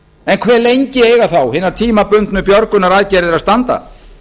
en hve lengi eiga þá hinar tímabundnu björgunaraðgerðir að standa